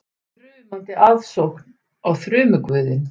Þrumandi aðsókn á þrumuguðinn